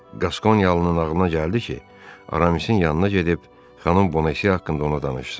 Qaskoniyalı'nın ağlına gəldi ki, Aramis'in yanına gedib xanım Bonacieux haqqında ona danışsın.